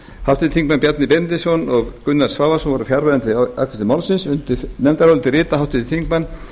háttvirtir þingmenn bjarni benediktsson og gunnar svavarsson voru fjarverandi við afgreiðslu málsins undir nefndaráliti rita háttvirtir þingmenn